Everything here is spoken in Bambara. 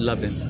Labɛn